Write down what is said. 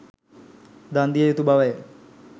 දන් දිය යුතු බව ය.